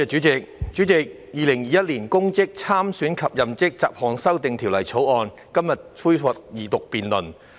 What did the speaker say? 主席，《2021年公職條例草案》在今天恢復二讀辯論。